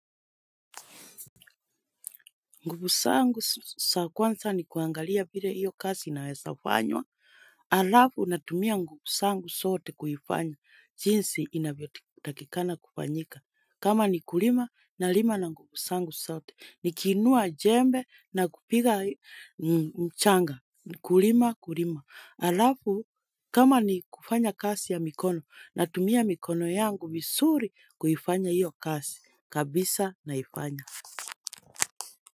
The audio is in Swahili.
Nguvu zangu za kwanza ni kuangalia vile hiyo kazi inaweza fanywa. Halafu natumia nguvu zangu zote kuifanya. Jinsi inavyotakikana kufanyika. Kama ni kulima nalima na nguvu zangu zote. Nikiinua jembe na kupiga mchanga. Kulima kulima. Halafu kama ni kufanya kazi ya mikono. Natumia mikono yangu vizuri kuifanya hiyo kasi. Kabisa naifanya.